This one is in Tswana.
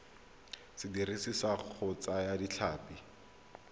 sediriswa sa go thaya ditlhapi